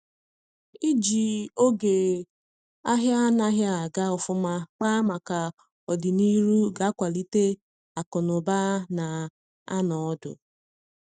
iji oge ahia anaghi aga ofuma kpaa maka ọdịnihu ga akwalite akụ na ụba na anọ ọdụ